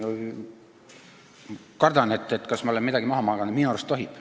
Kardan, et ma olen midagi maha maganud, aga minu arust tohib.